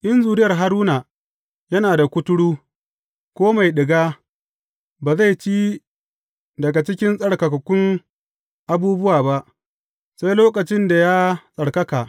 In zuriyar Haruna yana da kuturu, ko mai ɗiga, ba zai ci daga cikin tsarkakakkun abubuwa ba, sai lokacin da ya tsarkaka.